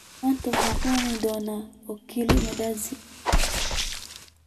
Maanta waxaan cuni doonaa oo kaliya mandazi